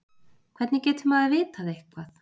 Hvernig getur maður vitað eitthvað?